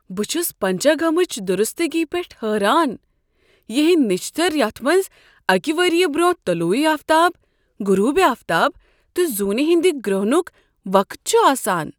بہٕ چھس پنچنگمٕچ درستگی پیٹھ حیران، ہینٛدۍ نِچھتر یتھ منٛز اکہ ؤری برٛونٛہہ طلوع آفتاب، غروب آفتاب تہٕ زونہ ہٕند گرہنک وقت چھ آسان۔